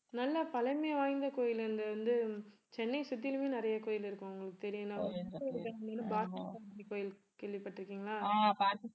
நல்லா பழமை வாய்ந்த கோயில் அங்க வந்து சென்னையை சுற்றிலும் நிறைய கோயில் இருக்கும் உங்களுக்கு பார்த்தசாரதி கோவில் கேள்விப்பட்டிருக்கீங்களா